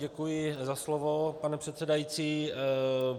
Děkuji za slovo, pane předsedající.